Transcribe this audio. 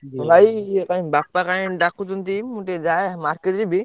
ଭାଇ କାଇଁ ବାପା କାଇଁ ଡାକୁଛନ୍ତି ମୁଁ ଟିକେ ଯାଏ market ଯିବି।